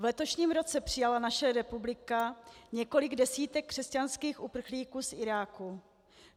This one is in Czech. V letošním roce přijala naše republika několik desítek křesťanských uprchlíků z Iráku.